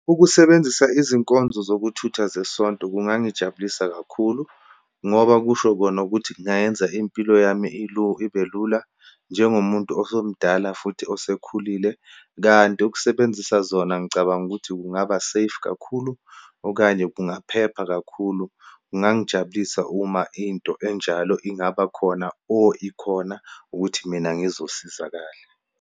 Ukusebenzisa izinkonzo zokuthutha zeSonto kungangijabulisa kakhulu, ngoba kusho kona ukuthi kungayenza impilo yami ibe lula, njengomuntu osomdala futhi osekhulile. Kanti ukusebenzisa zona, ngicabanga ukuthi kungaba safe kakhulu, okanye kungaphepha kakhulu. Kungangijabulisa uma into enjalo ingaba khona or ikhona ukuthi mina ngizosizakala.